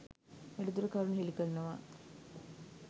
වැඩිදුර කරුණු හෙළි කරනවා